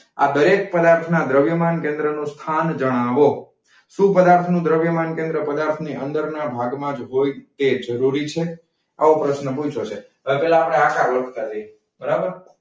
આ દરેક પદાર્થ ના દ્રવ્યમાન કેન્દ્ર નું સ્થાન જણાવો. શુ પદાર્થ નું દ્રવ્યમાન કેન્દ્ર પદાર્થ ની અંદર ના ભાગ માજ હોય તે જરૂરી છે? આવો પ્રશ્નો પૂછ્યો છે. અપડે આકાર લખતા જઈશું.